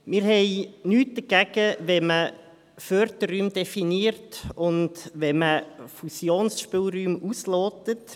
– Wir haben nichts dagegen, wenn man Förderräume definiert und Fusionsspielräume auslotet.